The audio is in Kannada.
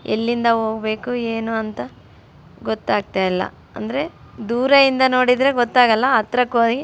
ಇಲ್ಲಿಂದ ಹೋಗ್ಬೇಕು ಏನು ಅಂತ ಗೊತ್ತಾಗ್ತಾಯಿಲ್ಲ. ಅಂದ್ರೆ ದೂರದಿಂದ ನೋಡಿದ್ರೆ ಗೊತ್ತಾಗೊಲ್ಲ ಹತ್ರಕ್ಕೆ ಹೋಗಿ --